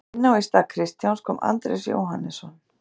Inná í stað Kristjáns kom Andrés Jóhannesson.